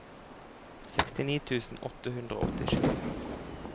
sekstini tusen åtte hundre og åttisju